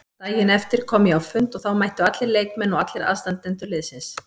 Daginn eftir kom ég á fund og þá mættu allir leikmenn og allir aðstandendur liðsins.